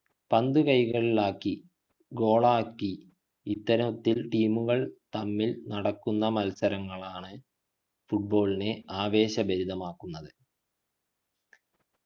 പന്തു കൈക്കലാക്കി goal ആക്കി ഇത്തരത്തിൽ team ഉകൾ തമ്മിൽ നടക്കുന്ന മത്സരമാണ് football നെ ആവേശഭരിതമാകുന്നത്